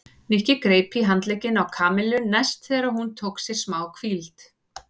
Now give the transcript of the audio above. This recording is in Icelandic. Nikki greip í handlegginn í Kamillu næst þegar hún tók sér málhvíld.